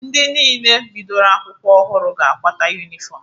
Ndị niile bidoro akwụkwọ ọhụrụ ga-akwata yunifọmụ.